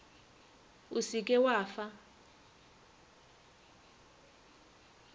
o se ke wa fa